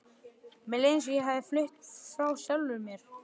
Mér leið eins og ég hefði flutt frá sjálfri mér.